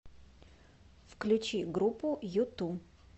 включи группу юту